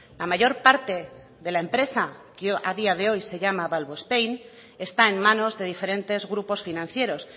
la mayor parte de la empresa que a día de hoy se llama valvospain está en manos de diferentes grupos financieros